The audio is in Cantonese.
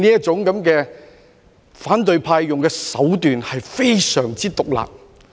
反對派所用的這種手段非常之毒辣。